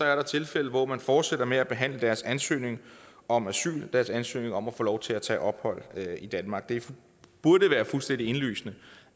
er der tilfælde hvor man fortsætter med at behandle deres ansøgning om asyl deres ansøgning om at få lov til at tage ophold i danmark det burde være fuldstændig indlysende